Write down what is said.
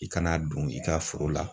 I kan'a don i ka foro la.